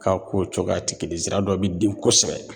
Ka kow cogoya ti kelen ye zira dɔ bi den kosɛbɛ